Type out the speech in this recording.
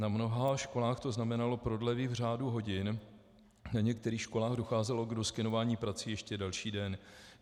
Na mnoha školách to znamenalo prodlevy v řádu hodin, na některých školách docházelo k doskenování prací ještě další den.